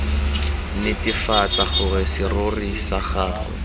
netefatsa gore serori sa gagwe